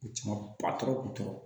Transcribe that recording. U ti ma patɔrɔn kutɔr